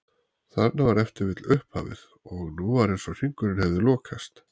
Þarna var ef til vill upphafið og nú var eins og hringurinn hefði lokast.